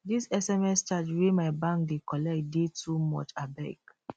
dis sms charge wey my bank dey collect dey too much abeg